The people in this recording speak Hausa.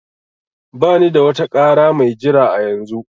Bani da wata ƙara mai jira a yanzu